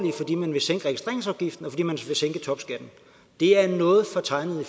fordi man vil sænke topskatten det er et noget fortegnet